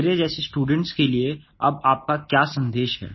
मेरे जैसे स्टूडेंट्स के लिए अब आपका क्या सन्देश है